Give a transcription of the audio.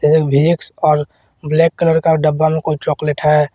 और black colour का डब्बा में कोई चॉकलेट है।